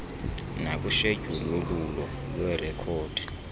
nakwishedyuli yolwulo lweerekhodi